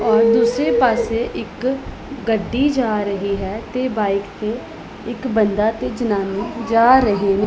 ਔਰ ਦੂਸਰੇ ਪਾਸੇ ਇੱਕ ਗੱਡੀ ਜਾ ਰਹੀ ਹੈ ਤੇ ਬਾਈਕ ਤੇ ਇੱਕ ਬੰਦਾ ਤੇ ਜਨਾਨੀ ਜਾ ਰਹੇ ਨੇ।